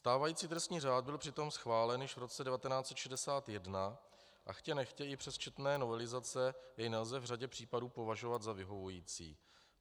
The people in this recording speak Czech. Stávající trestní řád byl přitom schválen již v roce 1961 a chtě nechtě i přes četné novelizace jej nelze v řadě případů považovat za vyhovující.